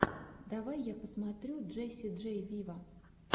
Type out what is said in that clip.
давай я посмотрю джесси джей виво